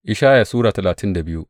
Ishaya Sura talatin da biyu